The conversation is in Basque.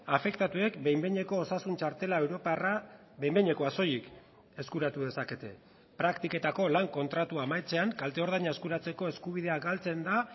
afektatuek behin behineko osasun txartela europarra behin behinekoa soilik eskuratu dezakete praktiketako lan kontratua amaitzean kalte ordaina eskuratzeko eskubidea galtzen da